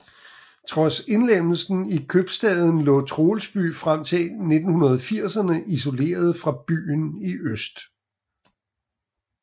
Trods indlemmelsen i købstaden lå Troelsby frem til 1980erne isoleret fra byen i øst